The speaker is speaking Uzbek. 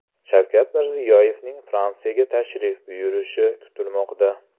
Shavkat Mirziyoyevning Fransiyaga tashrif buyurishi kutilmoqda.